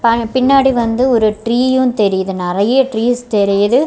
By பின்னாடி வந்து ஒரு ட்ரீயு தெரியுது நறைய டிரீஸ் தெரியுது.